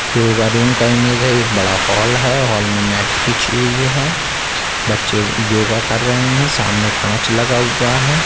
Yoga room का image है। ये एक बड़ा हॉल है। हॉल में मैट बिछी हुई हैं। बच्चे योगा कर रहे हैं सामने कांच लगा हुआ है।